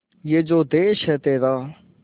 ये जो देस है तेरा